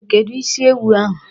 Kedụ isi ewu ahụ?